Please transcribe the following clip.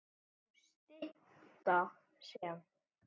sem má stytta sem